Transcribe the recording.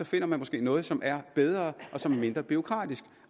finder man måske noget som er bedre og som er mindre bureaukratisk